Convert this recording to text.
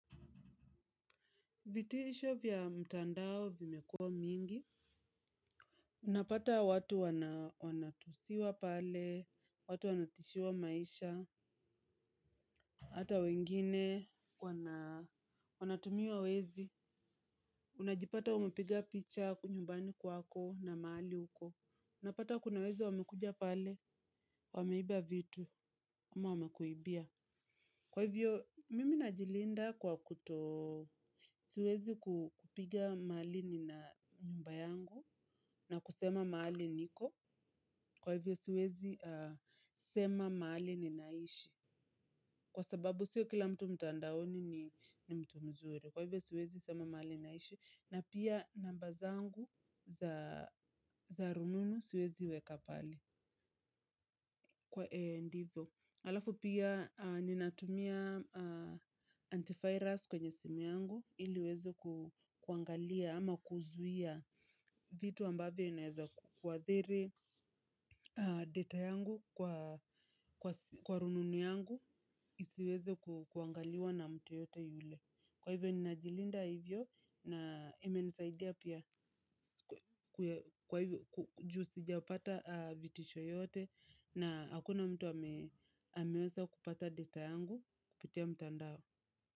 Vitisho vya mtandao vimekuwa mingi. Unapata watu wanatusiwa pale, watu wanatishiwa maisha. Hata wengine wanatumia wezi. Unajipata umepiga picha uko nyumbani kwako na mahali uko unapata kuna wezi wamekuja pale. Wameiba vitu, ama wamekuibia. Kwa hivyo, mimi najilinda kwa kuto siwezi kupiga mahali n na nyumba yangu na kusema mahali niko kwa hivyo siwezi sema mahali ninaishi kwa sababu siyo kila mtu mtandaoni ni mtu mzuri kwa hivyo siwezi sema mahali ninaishi na pia namba zangu za za rununu siwezi weka pale kwa ndivyo halafu pia ninatumia antivirus kwenye simu yangu ili iwezo kuangalia ama kuzuia vitu ambavyo inaweza kuadhiri. Data yangu kwa rununu yangu isiweze kuangaliwa na mtu yeyote yule. Kwa hivyo ni najilinda hivyo na ime nisaidia pia juu sijapata vitisho yoyote na hakuna mtu ameweza kupata data yangu kupitia mtandao.